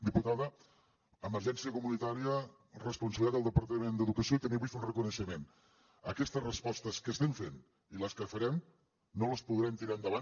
diputada emergència comunitària responsabilitat del departament d’educació i també vull fer un reconeixement aquestes respostes que estem fent i les que farem no les podrem tirar endavant